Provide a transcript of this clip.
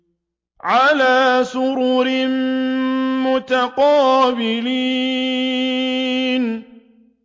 عَلَىٰ سُرُرٍ مُّتَقَابِلِينَ